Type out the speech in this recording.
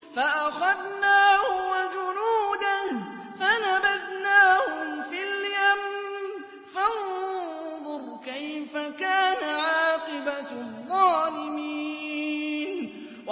فَأَخَذْنَاهُ وَجُنُودَهُ فَنَبَذْنَاهُمْ فِي الْيَمِّ ۖ فَانظُرْ كَيْفَ كَانَ عَاقِبَةُ الظَّالِمِينَ